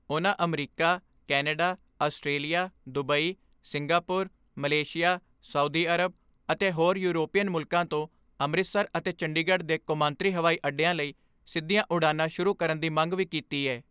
ਉਨ੍ਹਾਂ America, Canada, Australia, Dubai, Singapore, Malaysia, Saudi Arab ਅਤੇ ਹੋਰ ਯੂਰੋਪੀਅਨ ਮੁਲਕਾਂ ਤੋਂ ਅੰਮ੍ਰਿਤਸਰ ਅਤੇ ਚੰਡੀਗੜ੍ਹ ਦੇ ਕੌਮਾਂਤਰੀ ਹਵਾਈ ਅੱਡਿਆਂ ਲਈ ਸਿੱਧੀਆਂ ਉਡਾਣਾਂ ਸ਼ੁਰੂ ਕਰਨ ਦੀ ਮੰਗ ਵੀ ਕੀਤੀ ਏ।